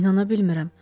İnana bilmirəm.